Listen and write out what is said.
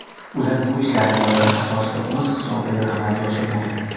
Ular bu ishlarni loyiha asosida o‘z hisobidan amalga oshirmoqda.